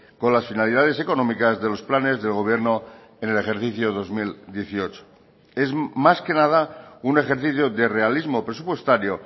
con las finalidades económicas de los planes del gobierno en el ejercicio dos mil dieciocho es más que nada un ejercicio de realismo presupuestario